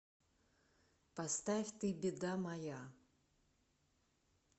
поставь ты беда моя